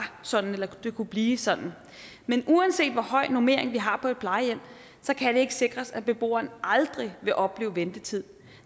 sådan eller kunne blive sådan men uanset hvor høj normering vi har på et plejehjem kan det ikke sikres at beboerne aldrig vil opleve ventetid